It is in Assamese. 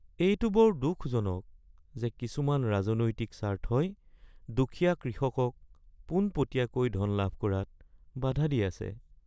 এইটো বৰ দুখজনক যে কিছুমান ৰাজনৈতিক স্বাৰ্থই দুখীয়া কৃষকক পোনপটীয়াকৈ ধন লাভ কৰাত বাধা দি আছে